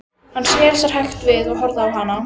Hann sneri sér hægt við og horfði á hana.